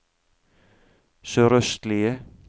sørøstlige